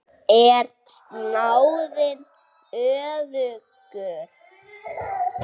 Er snáðinn öfugur?